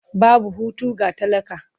Babu hutu ga talaka.